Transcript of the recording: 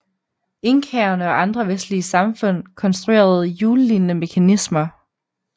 Inkaerne og andre vestlige samfund konstruerede hjullignende mekanismer